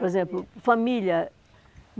Por exemplo, família.